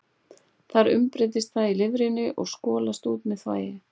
Þar umbreytist það í lifrinni og skolast út með þvagi.